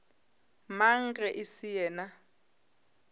mang ge e se yena